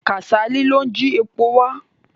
Kàsálí ló ń ji epo wà.